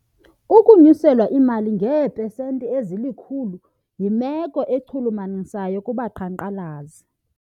Ukunyuselwa imali ngeepesenti ezilikhulu yimeko echulumachisayo kubaqhankqalazi.